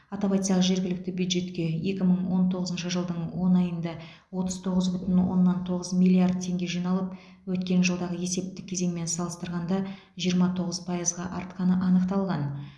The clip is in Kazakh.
атап айтсақ жергілікті бюджетке екі мың он тоғызыншы жылдың он айында отыз тоғыз бүтін оннан тоғыз миллиард теңге жиналып өткен жылдағы есептік кезеңмен салыстырғанда жиырма тоғыз пайызға артқаны анықталған